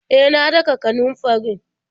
E, na daka kanunfarin.